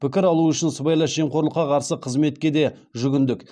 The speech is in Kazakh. пікір алу үшін сыбайлас жемқорлыққа қарсы қызметке де жүгіндік